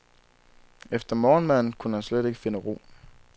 Efter morgenmaden kunne han slet ikke finde ro.